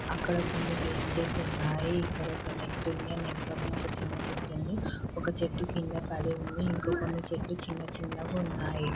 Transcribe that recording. ఇక్కడ కొన్ని బెంచెస్ ఉన్నాయి. ఒక నెట్టు ఉంది. నెట్ పక్కన ఒక చిన్న చెట్టు ఉంది. చెట్టు కింద పడి ఉంది.